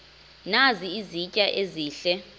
nazi izitya ezihle